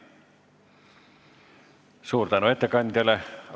Suur tänu ettekandjale!